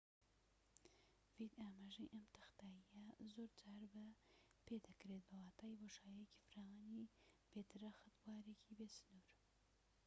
ئەم تەختاییە زۆر جار بە‎ ‏"ڤید ئاماژەی پێدەکرێت، بە واتای بۆشاییەکی فراوانی بێ درەخت، بوارێکی بێسنوور